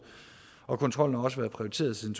og kontrollen har også været prioriteret siden